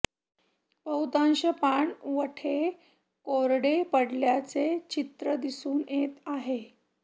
बहुतांश पाणवठे कोरडे पडल्याचे चित्र दिसून येत आहे